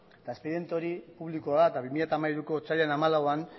eta espediente hori publikoa da bi mila hamairuko otsailaren hamalauan